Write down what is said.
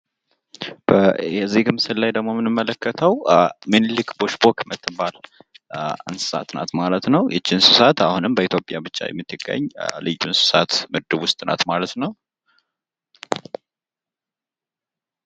በዚህ ምስል ላይ ደግሞ የምንመለከተው ሚኒሊክ ቦሽቦክ የምትባል እንስሳት ናት ማለት ነው። ይች እንስሳት አሁንም በኢትዮጵያ ብቻ የምትገኝ ልዩ እንስሳት ምድብ ውስጥ ናት ማለት ነው።